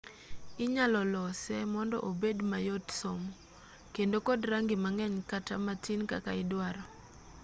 inyalo lose mondo obed mayot somo kendo kod rangi mang'eny kata matin kaka idwaro